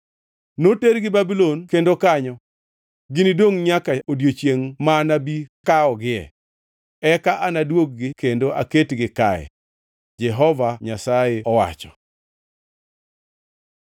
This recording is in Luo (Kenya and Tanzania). ‘Notergi Babulon kendo kanyo ginidongʼ nyaka odiechiengʼ ma anabi kawogie. Eka anadwog-gi kendo aketgi kae.’ ” Jehova Nyasaye owacho.